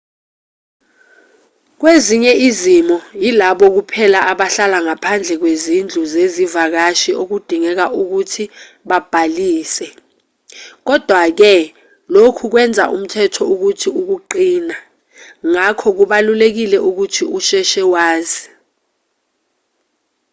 kwezinye izimo yilabo kuphela abahlala ngaphandle kwezindlu zezivakashi okudingeka ukuthi babhalise kodwa-ke lokhu kwenza umthetho uthi ukuqina ngakho kubalulekile ukuthi usheshe wazi